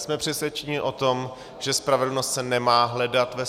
Jsme přesvědčeni o tom, že spravedlnost se nemá hledat ve